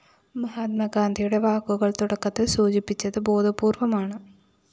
മഹാത്മാഗാന്ധിയുടെ വാക്കുകള്‍ തുടക്കത്തില്‍ സൂചിപ്പിച്ചത് ബോധപൂര്‍വമാണ്